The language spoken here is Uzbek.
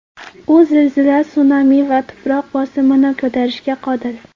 U zilzila, sunami va tuproq bosimini ko‘tarishga qodir.